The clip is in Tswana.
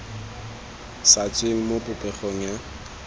sa tsweng mo popegong ya